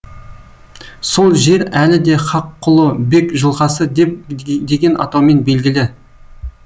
сол жер әлі де хаққұлы бек жылғасы деген атаумен белгілі